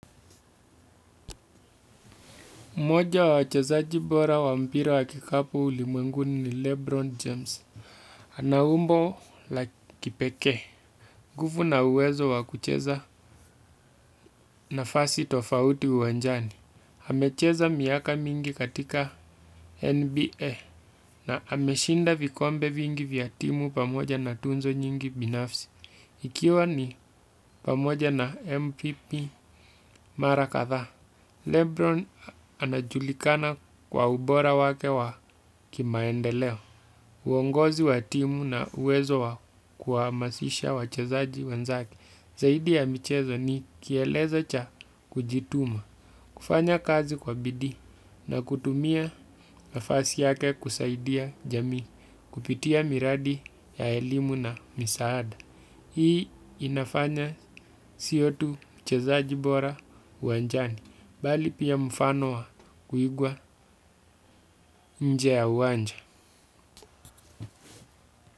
Moja wa wachezaji bora wa mpira wakikapu ulimwenguni ni Lebron James. Ana umbo la kipekee. Nguvu na uwezo wakucheza nafasi tofauti uwanjani. Hamecheza miaka mingi katika NBA na ameshinda vikombe vingi vya timu pamoja na tuzo nyingi binafsi. Ikiwa ni pamoja na MPP mara kadhaa. Lebron anajulikana kwa ubora wake wa kimaendeleo uongozi wa timu na uwezo wa kuhamasisha wachezaji wenzake zaidi ya michezo ni kielezo cha kujituma kufanya kazi kwa bidi na kutumia nafasi yake kusaidia jamii kupitia miradi ya elimu na misaada hii inafanya siyo tu uchezaji bora uwanjani bali pia mfano wa kuigwa nje ya uwanja.